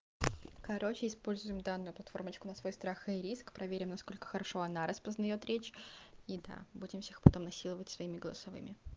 короче используем данную платформочку на свой страх и риск проверим насколько хорошо она распознает речь и да будем всех потом насиловать своими голосовыми